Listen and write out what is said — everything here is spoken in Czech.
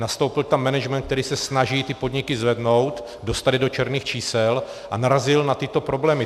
Nastoupil tam management, který se snaží ty podniky zvednout, dostat je do černých čísel, a narazil na tyto problémy.